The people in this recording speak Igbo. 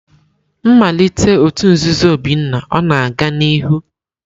Nmalite òtù nzuzo Obinna ọ na-aga n'ihu?